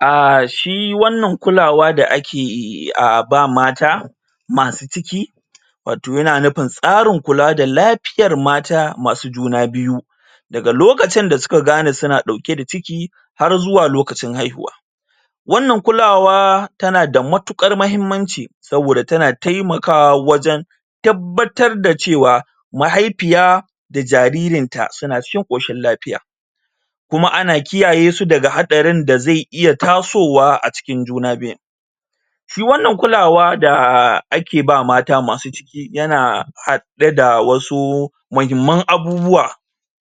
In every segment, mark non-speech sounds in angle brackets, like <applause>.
um shi wannan lukawa da ake ba wa mata masu ciki watau yana nufin tsarin kula da lafiyar mata masu juna biyu daga lokacin da su ka gane su na dauke da ciki har zuwa lokacin haihuwa wannan kulawa ta na da matukar mahimmanci soboda ta na taimakawa wajen tabbata da cewa mahaifiya da jaririn ta suna cikin koshin lafiya kuma ana kiyaye su daga hadarin da zai iya tasowa a cikin juna biyun shi wannan kulawa da ake ba wa mata masu ciki yana hade da wasu muhimman abubuwa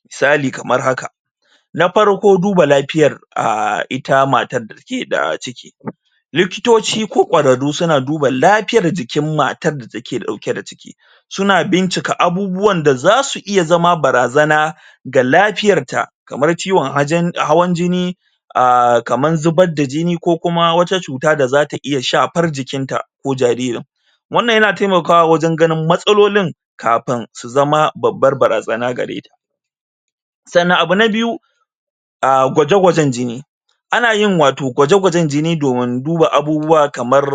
misali kamar haka na farko duba lafiyar um ita matar da take da ciki likitoci ko kwararu su na duba lafiyar jikin matar da take dauke da ciki su na bincika abubuwa da zasu iya zama barazana ga lafiyar ta kamar ciwon hawan jini kamar zubar da jini ko kuma wata cuta da zata iya shafar jikin ta ko jaririn wannan yana taimakawa wajen ganin matsalolin kafin su zama babbar barazana gareta sannan abu na biyu um gwaje gwajen jini ana yin watau gwajen gwajen jini domin duba abubuwa kamar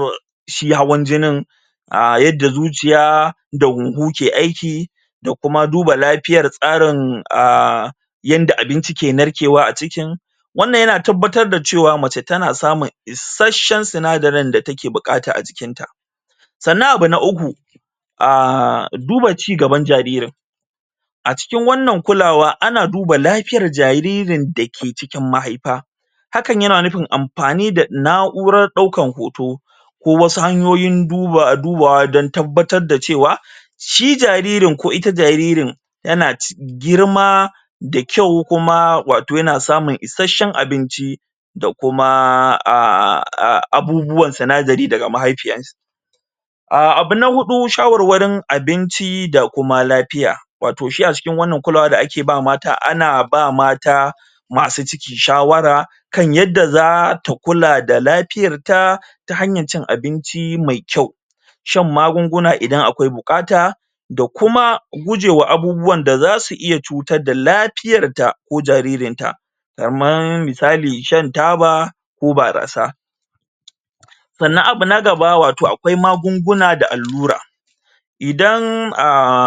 shihawan jininum yadda zuciya da huhu ke aiki da kuma duba lafiyar tsarin um yanda abinci ke narkewa a cikin wannan yana tabbatar da cewa mace ta na samun isashen sinadirin da take bukata a jikin ta sannan abu na uku um duba cigaban jaririn a cikin wannan kulawa ana duba lafiyan jaririn da ke cikin mahaifa hakan ya na nufin amfani da na'uran daukan hoto ko wasu hanyoyi dubawa dan tabbatar da cewa shijaririn ko ita jarirn ya na girma da kyau watau ya na samun isashen abinci da kuma <hesitation> abubuwan sinadiri daga mahaifiyan sa um abu na hudu shawarwarin abinci da kuma lafiya watau shi a cikin wannan kulawa da ake ba mata ana ba mata masu ciki shawara kan yadda zata kula da lafiyarta ta hanyan cin abinci mai kyau shan magunguna idan akwai bukata da kuma gujewan abubuwan da za su iya cutar da lafiyar ta ko jaririn ta kaman misali shan taba ko barasa sannan abu na gaba watau akwai magunguna da allura idan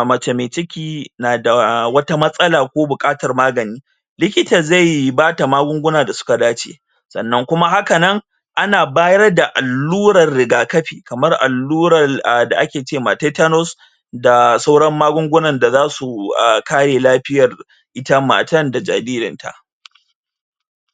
mace mai ciki tana da wata masala ko bukatar magani likita zai ba da magunguna da suka dace sannan kuma hakanan ana bayar da allurar riakafi kamar allurar da ake ce ma tetanus da sauran magungunan da za su kare lafiyar ita matan da jaririn ta